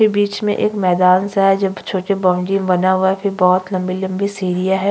के बीच मे एक मैदान सा है जो छोटे बॉउंड्री सा बना हुआ है फिर बहुत लम्बे-लम्बे सीढ़िया है।